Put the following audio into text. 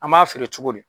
An b'a feere cogo di